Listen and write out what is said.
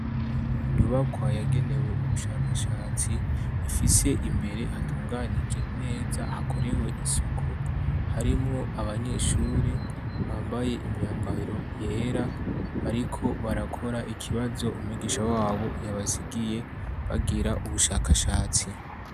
Inyubakwa yagenewe ubushakashatsi ifise imbere hatunganije neza hakorewe isuku harimwo abanyeshuri bambaye imyambaro yera bariko barakora ikibazo umigisha wabo yabasigiye bagira ubushakashatsi.